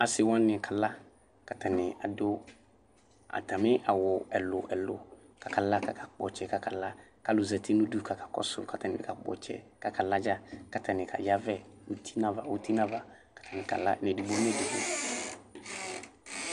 Asi wani kala kʋ atani adʋ atami awʋ ɛlʋ ɛlʋ kʋ ala kʋ akakpɔ ɔtsɛ kʋ akala kʋ alʋ zati nʋ ʋdʋ kʋ akakɔsʋ ma kʋ akakpɔ ɔtsɛ kʋ akala dza kʋ aka yavɛ uti nʋ ava uti nʋ ava kʋ akala edigbo nʋ edigbo